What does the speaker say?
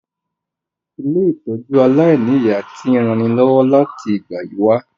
Ilé-ìtójú aláìniya ti n ranilọ́wọ́ láti ìgbà yi wa